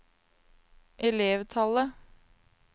elevtallet